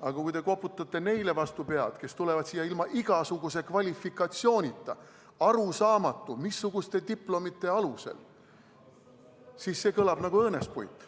aga kui te koputate vastu pead neile, kes tulevad siia ilma igasuguse kvalifikatsioonita, arusaamatute diplomite alusel, siis see kõlab nagu õõnespuit.